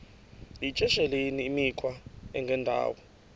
yityesheleni imikhwa engendawo